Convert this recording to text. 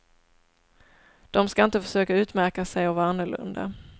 De skall inte försöka utmärka sig och vara annorlunda.